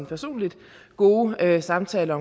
personligt gode samtaler